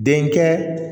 Den kɛ